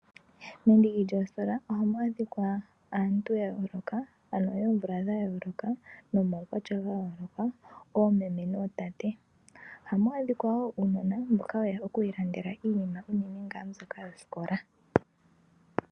Mendiki lyoositola ohamu adhikwa aantu ya yooloka, ano yoomvula dha yooloka, nomaukwatya ga yooloka, oomeme nootate. Ohamu adhikwa wo uunona mboka weya oku ilandela iinima uunene ngaa mbyoka yosikola.